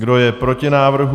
Kdo je proti návrhu?